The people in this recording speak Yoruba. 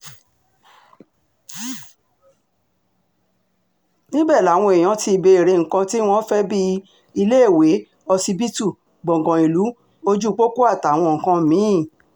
níbẹ̀ làwọn èèyàn ti béèrè nǹkan tí wọ́n fẹ́ bíi iléèwé ọsibítù gbọ̀ngàn ìlú ojúpọ́pọ́ àtàwọn nǹkan mí-ín